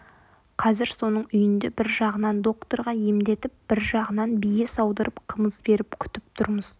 қазір соның үйінде бір жағынан докторға емдетіп бір жағынан бие саудырып қымыз беріп күтіп тұрмыз